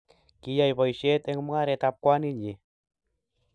Kiyai boishet eng mungaret ab kwaninyi